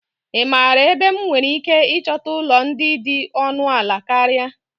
Ị maara ebe m nwere ike ịchọta ụlọ ndị dị ọnụ ala karịa?